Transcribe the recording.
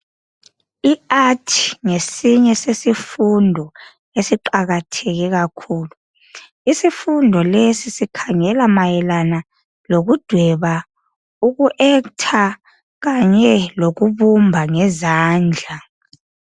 Iart ngesinye sesifundo esiqakatheke kakhulu. Isifundo lesi sikhangela mayelana lokudweba, uku actor kanye lokubumba ngezandla.